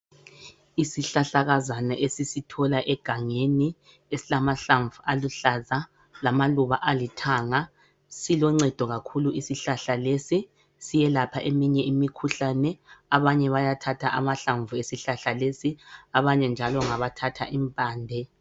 Isihlahlakazana esisithola egangeni esilamahlamvu aluhlaza lamaluba alithanga siloncedo kakhulu isihlahla lesi siyelapha eminye imikhuhlane. Abanye bayathatha amahlamvu esihlahla lesi abanye njalo ngabathatha impande.